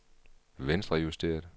venstrejusteret